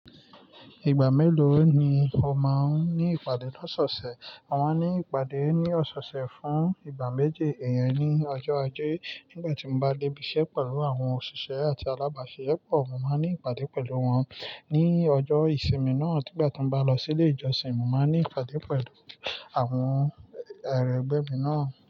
Ìgbà mélòó ni o máa ń ní ìpàdé lọ́se ọ̀sẹ̀? Mo máa ń ní ìpàdé ní ọ̀sọ̀ọ̀sẹ̀ fún ìgbà méje. Ìyẹn ni ọjọ́ ajé nígbà tí mo bá debi iṣẹ́ pẹ̀lú àwọn òṣìṣẹ́ àti alábàáṣisepọ̀, mo máa ń ní ìpàdé pẹ̀lú wọn. Ní ọjọ́ ìsinmi náà, nígbà tí mo bá lọ sí ilé ìjọsìn, mo máa ń ní ìpàdé pẹ̀lú àwọn ẹrẹ̀gbẹ́ mi náà.